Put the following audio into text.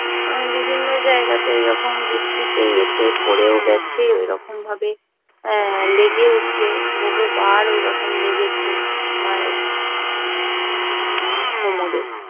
বিভিন্ন জায়গাতে এরকম বৃষ্টিতে এতে পড়েও গেছে ঐরকম ভাবে লেগেছে বহুবার লেগেছে মায়ের কোমরে